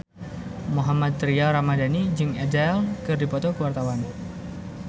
Mohammad Tria Ramadhani jeung Adele keur dipoto ku wartawan